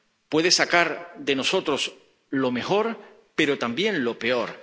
puede sacar de nosotros lo mejor, pero también lo peor.